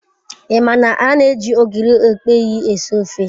I ma na an-eji ogiri okpei esi ofe